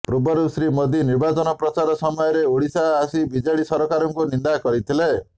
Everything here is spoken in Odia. ପୂର୍ବରୁ ଶ୍ରୀ ମୋଦି ନିର୍ବାଚନ ପ୍ରଚାର ସମୟରେ ଓଡ଼ିଶା ଆସି ବିଜେଡି ସରକାରଙ୍କୁ ନିନ୍ଦା କରିଥିଲେ